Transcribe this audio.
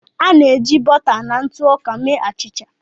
A na-eji bọta na ntụ ọka mee achịcha.